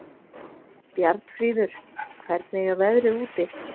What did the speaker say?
Bjarnfríður, hvernig er veðrið úti?